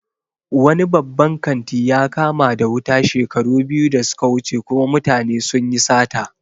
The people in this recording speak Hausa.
Wani babban kanti ya kama da wuta shekaru biyu da suka wuce kuma mutane sunyi sata